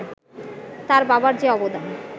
তার বাবার যে অবদান